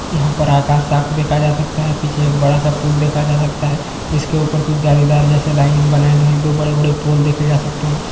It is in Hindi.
यहाँ पे आकाश साफ देखा जा सकता है पीछे एक बड़ा सा पूल दिखा जा सकता है इसके ऊपर कुछ जालीदार जैसे लाइनिंग बनाए गए हैं दो बड़े-बड़े पोल देखे जा सकते हैं